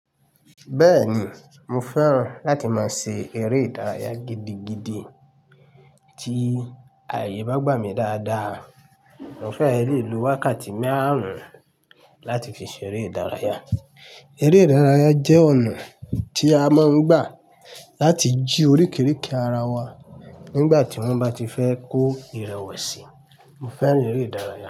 Bẹ́ẹ̀ni, mo fẹ́ràn láti máa ṣe eré ìdárayá gidigidi. Tí ààyè bá gbà mí dáadáa, mo fẹ́ le lò wákàtí márùn-ún láti fi ṣe eré ìdárayá. Eré ìdárayá jẹ́ ọ̀nà tí a máa ń gbà láti jí oríkeeke ara wa nígbà tí wọ́n bá ti fẹ́ kó ìrẹ̀wẹ̀sì. Mo fẹ́ràn eré ìdárayá.